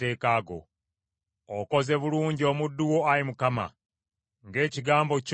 Okoze bulungi omuddu wo, Ayi Mukama , ng’ekigambo kyo bwe kiri.